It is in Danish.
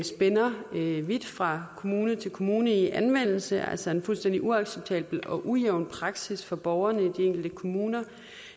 spænder vidt fra kommune til kommune i anvendelse altså en fuldstændig uacceptabel og ujævn praksis for borgerne i de enkelte kommuner